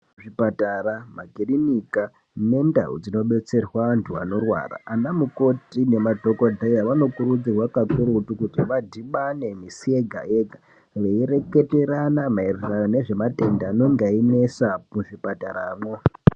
Zvipatara, makiriniki nendau dzinobetserwa andu anorwara anamukoti nemadhokodheya vanokurudzirwa kakurutu kuti vadhibane misi yega yega veireketerana maererano nezvematenda anenge ayinesa muzvipataramwo.